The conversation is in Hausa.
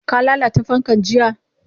Ka lalata fankan jiya?